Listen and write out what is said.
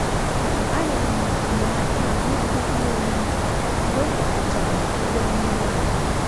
A rịọrọ m enyemaka maka ibuga ihe oriri mgbe m gbakechara obere mmerụ ahụ.